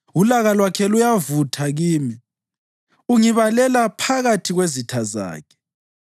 Ulaka lwakhe luyavutha kimi; ungibalela phakathi kwezitha zakhe.